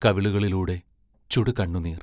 കവിളുകളിലൂടെ ചുടുകണ്ണുനീർ.